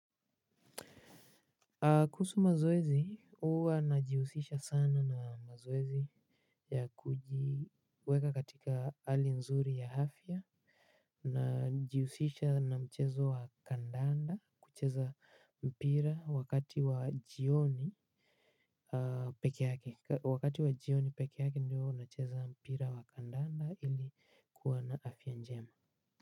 Kuhusu mazoezi huwa najihusisha sana na mazoezi ya kujiweka katika hali nzuri ya afya. Najihusisha na mchezo wa kandanda kucheza mpira wakati wa jioni peke yake. Wakati wa jioni peke yake ndio nacheza mpira wa kandanda ili kuwa na afya njema.